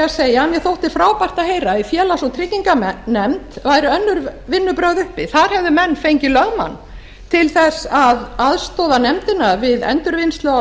segja að mér þótti frábært að heyra að í félags og trygginganefnd væru önnur vinnubrögð uppi þar hefðu menn fengið lögmann til þess að aðstoða nefndina við endurvinnslu á